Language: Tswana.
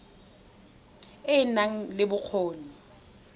e e nang le bokgoni